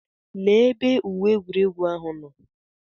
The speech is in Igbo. Lee ebe uwe egwuregwu ahụ nọ.